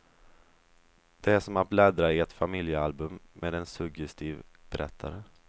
Det är som att bläddra i ett familjealbum med en suggestiv berättare.